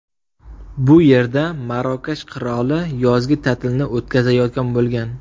Bu yerda Marokash qiroli yozgi ta’tilni o‘tkazayotgan bo‘lgan.